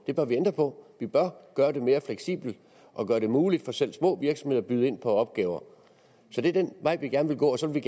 det bør vi ændre på vi bør gøre det mere fleksibelt og gøre det muligt for selv små virksomheder at byde ind på opgaver så det er den vej vi gerne vil gå og så vil